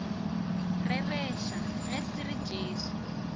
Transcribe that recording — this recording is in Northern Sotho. rereša ge se re jesu